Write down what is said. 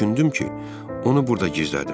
Düşündüm ki, onu burda gizlədim.